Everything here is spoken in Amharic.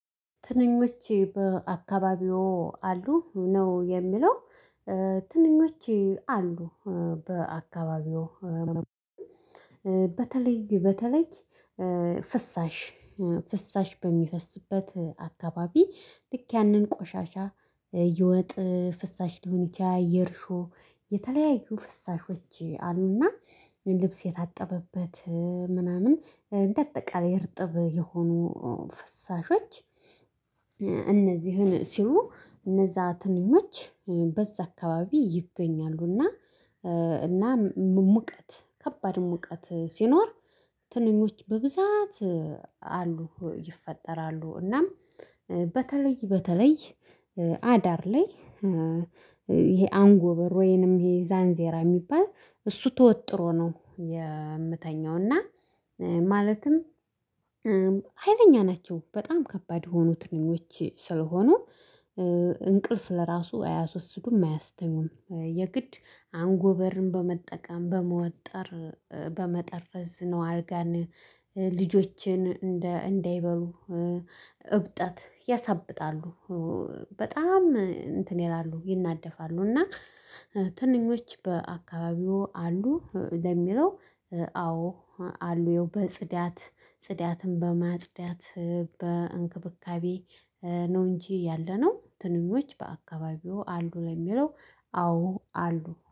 ትንኞቼ በአካባቢው አሉ ነው የሚለው። ትንኞቼ አሉ በአካባቢው። በተለይ በተለይ ፍሳሽ ፍሳሽ በሚፈስበት አካባቢ ልክ ያንን ቆሻሻ ይወጥ ፍሳሽ ሊሆን ይችላል የርሾ የተለያዩ ፍሳሾች አሉና ልብስ የታጠበት ምናምን እንደ አጠቃላይ እርጥብ የሆኑ ፈሳሾች። እነዚህን ስሉ እነዚያ ትንጆች በዛ አካባቢ ይገኛሉና። እና ሙቀት ከባድ ሙቀት ሲኖር ትንኞች በብዛት አሉ ይፈጠራሉ እናም። በተለይ በተለይ አዳር ላይ ይሄ አንጎ በር ወይንም ይሄ ዛንዜራ የሚባል እሱ ተወጥሮ ነው የምተኛው እና ማለትም። ሀይለኛ ናቸው በጣም ከባድ የሆኑ ትንኞች ስለሆኑ። እንቅልፍ ለራሱ አያስወስዱም አያስተኙም የግድ አንጎበርን በመጠቀም በመወጠር በመጠረዝ ነው አልጋን ልጆችን እንደይበሉ እብጠት ያሳብጣሉ። በጣም እንትን ይላሉ ይናደፋሉ እና ትንኞች በአካባቢው አሉ? ለሚለው አዎ አሉ በጽዳት ጽዳትም በማጽዳት በእንክብካቤ ነው። እንጂ ያለነው ትንኞች በአካባቢው አሉ ለሚለው አዎ አሉ